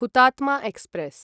Hutatma express